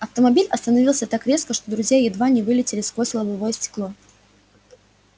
автомобиль остановился так резко что друзья едва не вылетели сквозь лобовое стекло